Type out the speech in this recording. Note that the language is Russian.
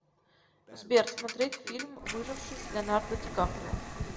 сбер смотреть фильм выживший с леонардо ди каприо